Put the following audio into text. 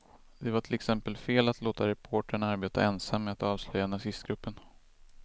Det var till exempel fel att låta reportern arbeta ensam med att avslöja nazistgruppen.